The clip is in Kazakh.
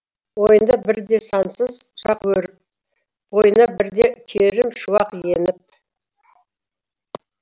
ойында бірде сансыз сұрақ өріп бойына бірде керім шуақ еніп